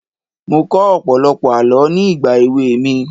Mo kọ́ ọ̀pọ̀lọpọ̀ àọ́ ní ìgbà èwe mi.